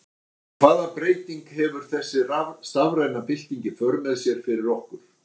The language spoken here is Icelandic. En hvaða breytingu hefur þessi stafræna bylting í för með sér fyrir okkur?